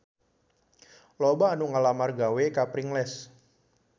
Loba anu ngalamar gawe ka Pringles